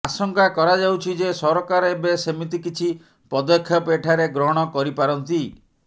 ଆଶଙ୍କା କରାଯାଉଛି ଯେ ସରକାର ଏବେ ସେମିତି କିଛି ପଦକ୍ଷେପ ଏଠାରେ ଗ୍ରହଣ କରିପାରନ୍ତି